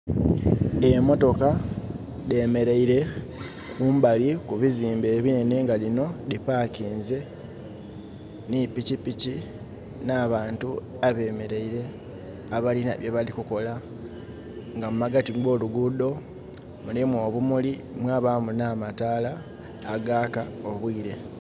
Emotoka dhemeleire kumbali kubizimbe ebinenhe nga dhino dhi pakinze nhi pikipiki, n'abantu abemeleire, abalinha bye balikukola nga mu magati go lugudho mulimu obumuli mwabaamu nh'amataala agaaka obwire.